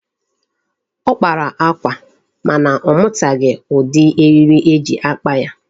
Ọ kpara akwa mana ọ mụtaghi ụdị eriri eji akpa ya.